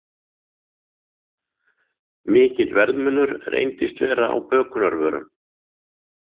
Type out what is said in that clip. Mikill verðmunur reyndist vera á bökunarvörum